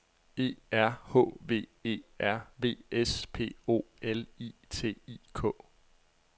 E R H V E R V S P O L I T I K